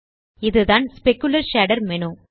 இதுதான் specular shader menu